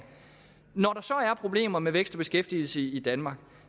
at problemer med vækst og beskæftigelse i danmark